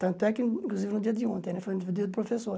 Tanto é que, inclusive, no dia de ontem, né foi o dia do professor.